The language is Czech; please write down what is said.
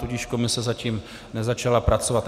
Tudíž komise zatím nezačala pracovat.